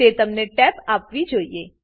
તે તમને ટેબ આપવી જોઈએ